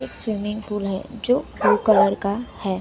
एक swimming pool है जो ब्लू कलर का है।